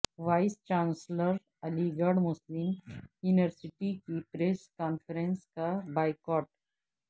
voice chancellor Aligarh Muslim university کی press conference کا boycott